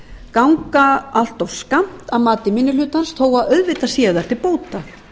ganga allt of skammt að mati minni hlutans þó að auðvitað séu þær til bóta